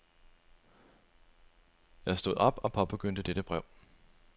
Jeg stod op og påbegyndte dette brev.